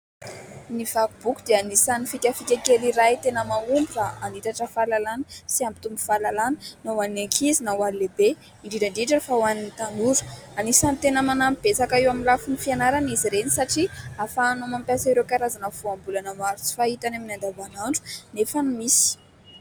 Ny vaky boky dia anisan'ny fikafika kely iray tena mahomby raha hanitatra fahalalàna sy hampitombo fahalalàna, na ho an'ny ankizy na ho an'ny lehibe indrindra indrindra fa ho an'ny tanora. Anisan'ny tena manampy betsaka eo amin'ny lafin'ny fianarana izy ireny satria ahafahanao mampiasa ireo karazana voambolana maro tsy fahita eny amin'ny andavanandro nefa misy.